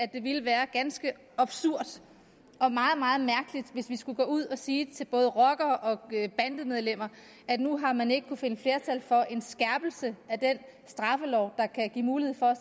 det ville være ganske absurd og meget meget mærkeligt hvis vi skulle gå ud og sige til både rockere og bandemedlemmer at nu har man ikke kunnet finde flertal for en skærpelse af den straffelov der kan give mulighed for